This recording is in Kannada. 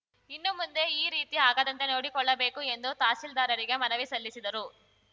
ಇನ್ನು ಮುಂದೆ ಈ ರೀತಿ ಆಗದಂತೆ ನೋಡಿಕೊಳ್ಳಬೇಕು ಎಂದು ತಹಸೀಲ್ದಾರರಿಗೆ ಮನವಿ ಸಲ್ಲಿಸಿದರು